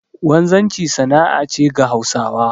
Wanzanci sana'a ce ga Hausawa